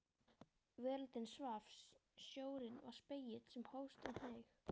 Veröldin svaf, sjórinn var spegill sem hófst og hneig.